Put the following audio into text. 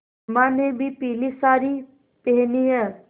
अम्मा ने भी पीली सारी पेहनी है